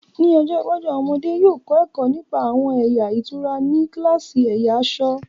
Ní ọjọ́ iwájú, àwọn ọmọdé yóò kọ́ ẹ̀kọ́ nípa àwọn ẹ̀yà ìtura ní kíláàsì ẹ̀yà aṣọ̀